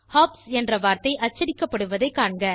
hops என்ற வார்த்தை அச்சடிக்கப்படுவதை காண்க